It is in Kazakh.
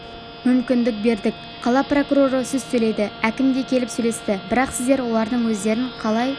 мүмкіндік бердік қала прокуроры сөз сөйледі әкім де келіп сөйлесті бірақ сіздер олардың өздерін қалай